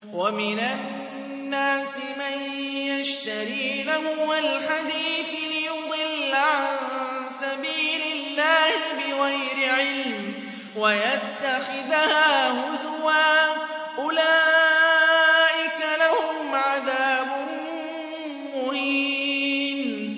وَمِنَ النَّاسِ مَن يَشْتَرِي لَهْوَ الْحَدِيثِ لِيُضِلَّ عَن سَبِيلِ اللَّهِ بِغَيْرِ عِلْمٍ وَيَتَّخِذَهَا هُزُوًا ۚ أُولَٰئِكَ لَهُمْ عَذَابٌ مُّهِينٌ